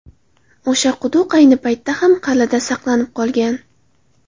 O‘sha quduq ayni paytda ham qal’ada saqlanib qolgan.